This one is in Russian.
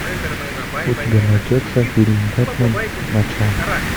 у тебя найдется фильм бэтмен начало